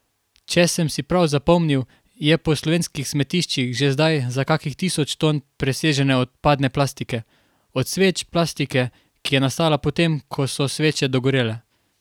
Če sem si prav zapomnil, je po slovenskih smetiščih že zdaj za kakih tisoč ton presežne odpadne plastike od sveč, plastike, ki je nastala po tem, ko so sveče dogorele.